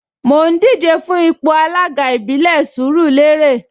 Mò ń díje fún ipò alága ìbílẹ̀ Sùúrùlérè